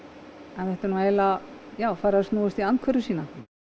en þetta er nú eiginlega farið að snúast í andhverfu sína